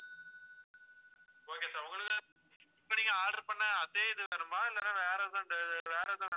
இப்ப நீங்க order பண்ண அதே இது வேணுமா இல்லைன்னா வேற எதாவது வேற எதுவும் வேணுமா sir